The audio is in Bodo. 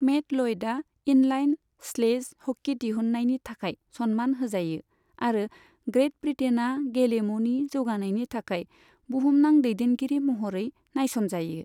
मेट लयडा इनलाइन स्लेज हकी दिहुन्नायनि थाखाय सन्मान होजायो, आरो ग्रेट ब्रिटेना गेलेमुनि जौगानायनि थाखाय बुहुमनां दैदेनगिरि महरै नायसनजायो।